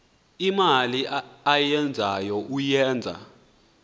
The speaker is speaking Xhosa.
imali ayenzayo uyenza